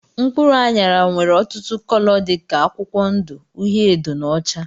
Mkpụrụ anyara nwere ọtụtụ cóló dika akwụkwọ ndụ, uhiedo na ọcha.